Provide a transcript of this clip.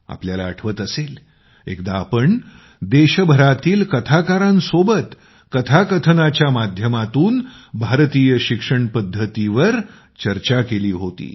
तुम्हाला आठवत असेल एकदा आम्ही देशभरातील कथाकारांसोबत कथाकथनाच्या माध्यमातून भारतीय शिक्षण पद्धतींवर चर्चा केली होती